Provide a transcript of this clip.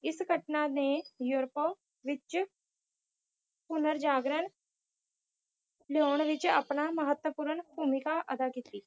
ਇਸ ਘਟਨਾ ਨੇ ਯੂਰੋਪ ਵਿੱਚ ਪੁਨਰਜਾਗਰਣ ਲਿਆਉਣ ਵਿੱਚ ਆਪਣਾ ਮਹੱਤਵਪੂਰਨ ਭੂਮਿਕਾ ਅਦਾ ਕੀਤੀ।